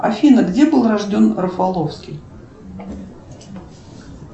афина где был рожден рафаловский